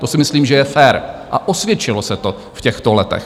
To si myslím, že je fér, a osvědčilo se to v těchto letech.